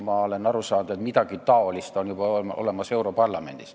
Ma olen aru saanud, et midagi sellist on juba olemas europarlamendis.